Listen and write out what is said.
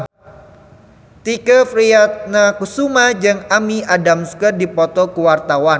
Tike Priatnakusuma jeung Amy Adams keur dipoto ku wartawan